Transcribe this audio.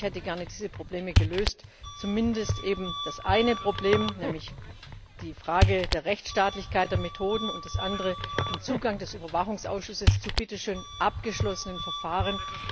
löst. Ich hätte diese Probleme gerne gelöst, zumindest eben das eine Problem, nämlich die Frage der Rechtsstaatlichkeit der Methoden, und das andere, den Zugang des Überwachungsausschusses zu bitteschön abgeschlossenen Verfahren.